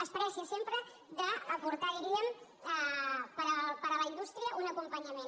es vanta sempre d’aportar diríem per a la indústria un acompanyament